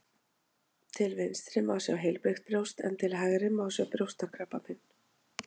Til vinstri má sjá heilbrigt brjóst en til hægri má sjá brjóstakrabbamein.